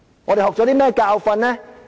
我們學了甚麼教訓呢？